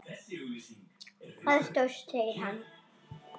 Það stóðst, segir hann.